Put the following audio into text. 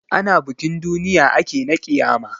Ana bikin duniya ake na ƙiyama.